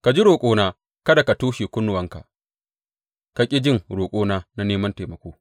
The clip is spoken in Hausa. Ka ji roƙona, Kada ka toshe kunnuwanka ka ƙi jin roƙona na neman taimako.